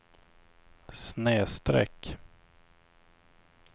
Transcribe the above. snedsträck